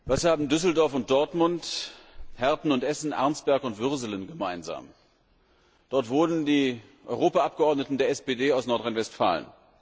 Herr Präsident! Was haben Düsseldorf und Dortmund, Herten und Essen, Arnsberg und Würselen gemeinsam? Dort wohnen die Europa Abgeordneten der SPD aus Nordrhein Westfalen.